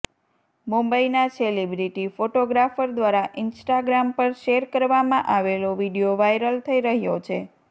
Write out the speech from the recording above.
મુંબઇના celebrity photographer દ્વારા Instagram પર શેર કરવામાં આવેલો વીડિયો વાયરલ થઇ રહ્યો છે